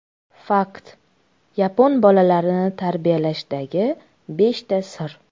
Fakt: Yapon bolalarini tarbiyalashdagi beshta sir.